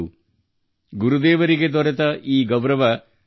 ಇದು ಗುರುದೇವನಿಗೆ ಸಿಕ್ಕ ಗೌರವವಾಗಿದೆ